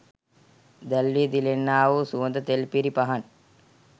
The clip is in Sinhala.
දැල්වී දිලෙන්නා වූ සුවඳ තෙල් පිරි පහන්